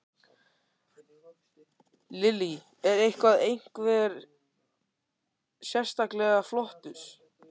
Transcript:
Lillý: Er eitthvað, einhver sérstaklega flottur?